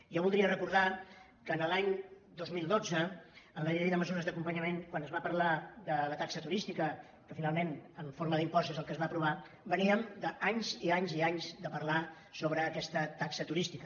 jo voldria recordar que l’any dos mil dotze amb la llei de mesures d’acompanyament quan es va parlar de la taxa turística que finalment en forma d’impost és el que es va aprovar veníem d’anys i anys i anys de parlar sobre aquesta taxa turística